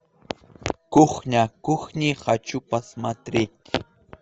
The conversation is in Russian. кухня кухни хочу посмотреть